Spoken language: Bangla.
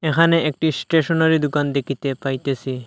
এখানে একটি স্টেশনারি দোকান দেখিতে পাইতেসি।